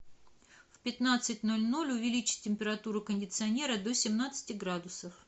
в пятнадцать ноль ноль увеличь температуру кондиционера до семнадцати градусов